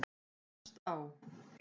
Efst á